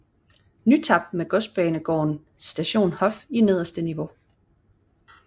NyTap med godsbanegården Station Hof i nederste niveau